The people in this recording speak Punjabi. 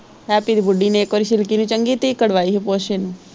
ਹੈਪੀ ਦੀ ਬੁੱਢੀ ਨੇ ਇੱਕ ਵਾਰੀ ਸਿਲਕੀ ਦੀ ਚੰਗੀ ਧਿਕੜ ਵਾਹੀ ਹੀ ਪੁੱਛ ਇੰਨੂ।